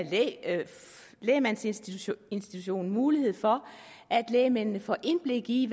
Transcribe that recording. lægmandsinstitutionen mulighed for at lægmændene får indblik i